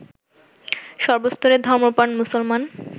সর্বস্তরের ধর্মপ্রাণ মুসলমান